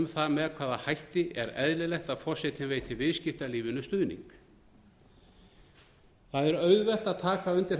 það með hvaða hætti er eðlilegt að forsetinn veiti viðskiptalífinu stuðning það er auðvelt að taka undir